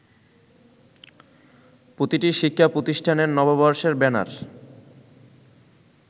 প্রতিটি শিক্ষাপ্রতিষ্ঠানের নববর্ষের ব্যানার